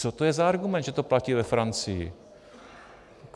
Co to je za argument, že to platí ve Francii?